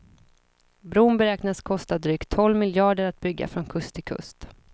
Bron beräknas kosta dryga tolv miljarder att bygga från kust till kust.